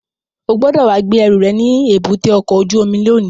O gbọ́dọ̀ wá gbé ẹrù rẹ̀ ní èbúté ọkọ̀ ojú omi lónìí!